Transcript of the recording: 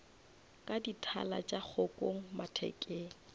ka dithala tša kgokong mathekeng